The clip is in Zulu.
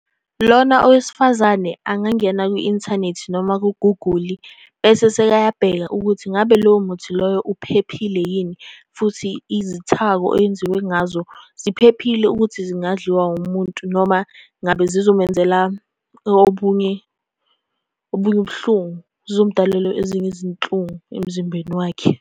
Lona owesifazane angangena kwi-inthanethi noma kuguguli, bese sekayabheka ukuthi ngabe lowo muthi loyo uphephile yini, futhi izithako owenziwe ngazo ziphephile ukuthi zingadliwa umuntu? Noma ngabe zizomenzela obunye, obunye ubuhlungu. Zizomudalela ezinye izinhlungu emzimbeni wakhe.